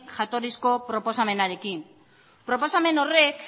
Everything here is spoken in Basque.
jatorrizko proposamenarekin proposamen horrek